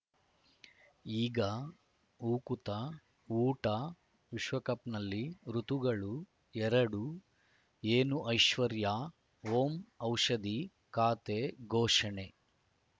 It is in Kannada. ಈಗ ಉಕುತ ಊಟ ವಿಶ್ವಕಪ್‌ನಲ್ಲಿ ಋತುಗಳು ಎರಡು ಏನು ಐಶ್ವರ್ಯಾ ಓಂ ಔಷಧಿ ಖಾತೆ ಘೋಷಣೆ